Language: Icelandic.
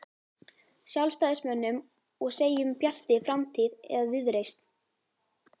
Sjálfstæðismönnum og segjum Bjartri framtíð eða Viðreisn?